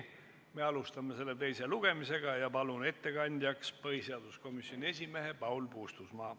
Me alustame selle teist lugemist ja palun ettekandjaks põhiseaduskomisjoni esimehe Paul Puustusmaa.